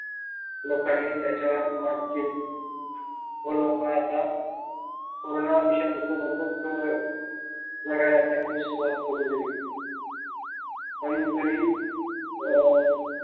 लोकांनी त्याच्या वर मात केली म्हणून लोक आता पूर्ण विषाणू सोबतच जगायला त्यांनी सुरवात करून दिली पण अं तरीही